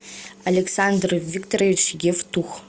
александр викторович евтух